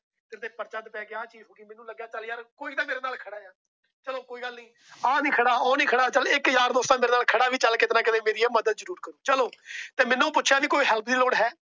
ਚੱਲ ਯਾਰ ਕੋਈ ਤਾ ਮੇਰੇ ਨਾਲ ਖੜਾ ਏ। ਚਲੋ ਕੋਈ ਗੱਲ ਨਹੀਂ ਆ ਨਹੀਂ ਖੜਾ ਉਹ ਨਹੀਂ ਖੜਾ। ਚੱਲ ਇੱਕ ਯਾਰ ਦੋਸਤ ਤਾ ਮੇਰੇ ਨਾਲ ਖੜਾ। ਚੱਲ ਕਿੱਤੇ ਨਾ ਕਿੱਤੇ ਮੇਰੀ ਇਹ ਮਦਦ ਜਰੂਰ ਕਰੁ। ਚਲੋ ਮੈਨੂੰ ਪੁੱਛਿਆ ਕੋਈ help ਦੀ ਲੋੜ ਹੈ।